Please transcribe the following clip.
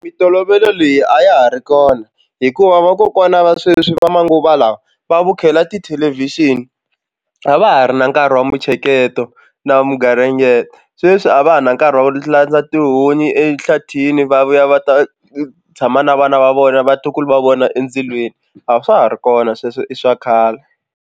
Mintolovelo leyi a ya ha ri kona hikuva vakokwana va sweswi va manguva lawa va vukhela tithelevhixini a va ha ri na nkarhi wa mitsheketo na wa mugaringeto sweswi a va ha na nkarhi va landza tihunyi ehlathini va vuya va ta tshama na vana va vona vatukulu va vona endzilweni a swa ha ri kona sweswo i swa khale.